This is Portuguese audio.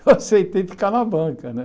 Eu aceitei ficar na banca, né?